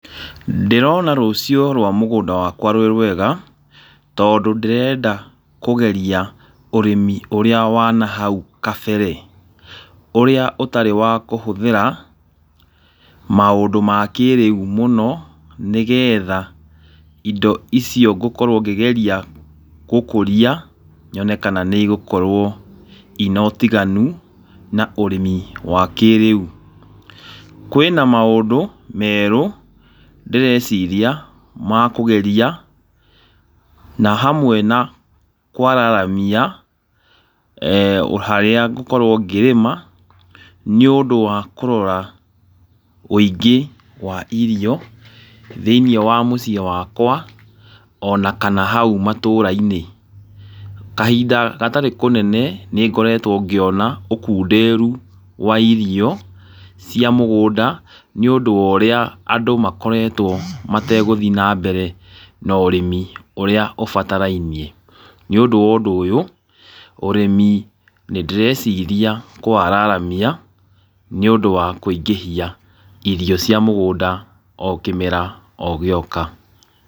Ndĩrona rũciũ rwa mũgũnda wakwa rwĩ rwega, tondũ ndĩrenda kũgeria ũrĩmi ũrĩa wa hau kabere. Ũrĩa ũtarĩ wa kũhũthĩra maũndũ ma kĩrĩu mũno, nĩgetha indo icio ngũkorwo ngĩgeria gũkũria, nyone kana nĩ igũkorwo ina ũtiganu na ũrĩmi wa kĩrĩu. Kwĩna maũndũ merũ ndĩreciria ma kũgeria na hamwe na kwararamia harĩa ngũkorwo ngĩrĩma, nĩ ũndũ wa kũrora ũingĩ wa irio thĩiniĩ wa mũgũnda wakwa ona kana hau itũũra-inĩ. Kahinda gatarĩ kũnene nĩ ngoretwo ngĩona ũkunderu wa irio cia mũgũnda wa irio nĩ ũndũ wa ũrĩa andũ makoretwo mategũthiĩ na mbere na ũrĩmi ũrĩa ũbatarainie. Nĩ ũndũ wa ũndũ ũyũ, ũrĩmi nĩ ndĩreciria kũwararamia nĩ ũndũ wa kũingĩhia irio cia mũgũnda o kĩmera o gĩoka.